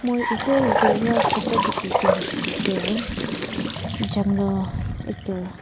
aru etey etey wa photo dikhitu hoishe kuile tu jungle etu.